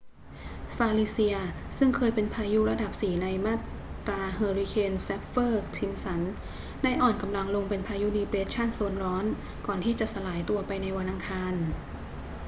falicia ซึ่งคยเป็นพายุระดับ 4 ในมาตราเฮอร์ริเคนแซฟเฟอร์-ซิมป์สัน ได้อ่อนกำลังลงเป็นพายุดีเปรสชั่นโซนร้อนก่อนที่จะสลายตัวไปในวันอังคาร